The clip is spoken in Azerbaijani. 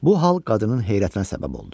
Bu hal qadının heyrətinə səbəb oldu.